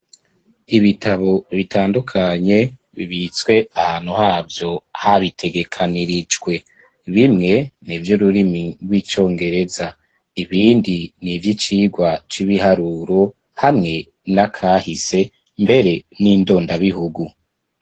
ibitabo bitandukanye bibitswe ahantu havyo habitegekaniritwe bimwe nivy'ururimi rw'icongereza ibindi nivyicigwa c'ibiharuro hamwe nakahise mbere n'indondabihugu